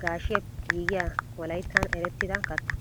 gaashshiyaappe giigiya wolayttan erettidda katta.